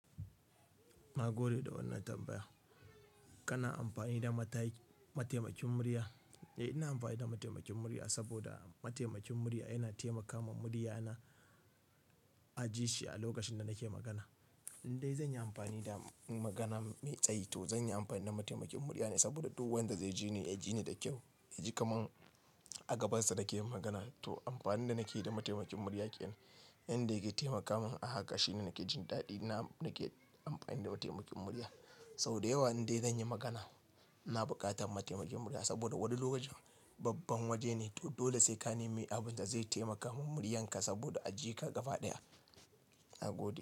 Na gode da wannan tambaya. Kana amfani da mata- mataimakin murya? Eh, ina amfani da mataimakin murya saboda mataimakin murya yana taimakawa muryana a ji shi a lokacin da nake magana. Indai zan yi amfani da magana mai tsayi to zan yi amfani da mataimakin murya ne saboda duk wanda zai ji ni, ya ji ni da kyau. Ya ji kaman a gabansa nake yin magana. To amfanin da nake yi da mataimakin murya kenan. Inda yake taimakamin a haka shine nake jin daɗi. Na nake amfani da mataimakin murya. Sau da yawa indai zan yi magana, ina buƙatar mataimakin murya saboda wani lokacin babban waje ne, to dole sai ka nemi abin da zai taimaka min muryanka saboda a ji ka gaba ɗaya. Na gode.